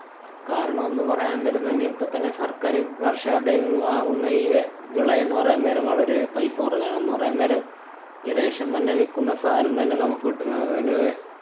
കാരണം ന്നു പറയാന്‍ നേരം തന്നെ ഇപ്പോ തന്നെ സര്‍ക്കാര് കര്‍ഷകരുടെ കയ്യില്‍ നിന്നും വാങ്ങുന്ന ഈ വി~ വിളയെന്നു പറയുന്നേരം വളരെ പൈസകൊറഞ്ഞാണ്. ന്നു പറയുന്നേരം ഈ ration തന്നെ വിക്കുന്ന സാധനം തന്നെ നമുക്ക് കിട്ടുന്നത് തന്നെ